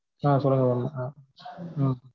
ஆஹ் சொல்லுங்க mam அஹ்